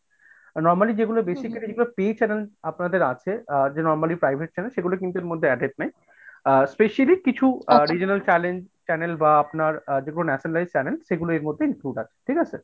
normally যেগুলো basically pay channel আপনাদের আছে আ যে normally private channel সেগুলি কিন্তু এর মধ্যে added নেই। আ specially কিছু regional channel channel বা আপনার যেকোনো nationally channel সেগুলো এর মধ্যে include আছে, ঠিকাছে?